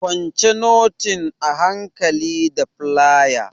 Kwance notin a hankali da flaya!